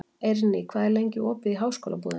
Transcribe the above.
Eirný, hvað er lengi opið í Háskólabúðinni?